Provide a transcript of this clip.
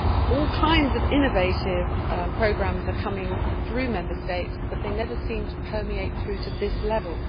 All kinds of innovative programmes are coming through Member States, but they never seem to permeate through to this level.